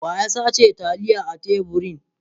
Wa ya sace taliyan a teburin?